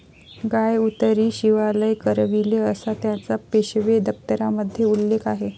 गाय उतरी शिवालय करविले'असा त्याचा पेशवे दप्तरामध्ये उल्लेख आहे.